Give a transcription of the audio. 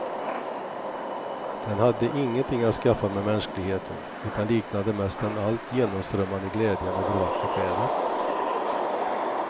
Den hade ingenting att skaffa med mänskligheten, utan liknade mest den allt genomströmmande glädjen över vackert väder.